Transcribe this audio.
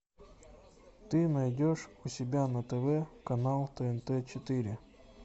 ты найдешь у себя на тв канал тнт четыре